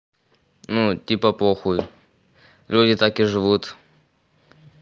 ну типа похуй люди так и живут